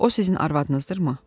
O sizin arvadınızdırmı?